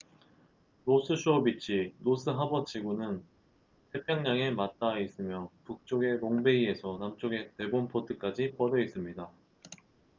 노스 쇼어 비치노스 하버 지구는 태평양에 맞다아 있으며 북쪽의 롱베이에서 남쪽의 데본포트까지 뻗어있습니다